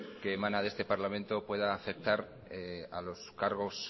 que emana de este parlamento pueda afectar a los cargos